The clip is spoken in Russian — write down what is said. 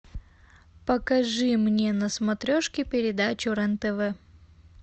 покажи мне на смотрешке передачу рен тв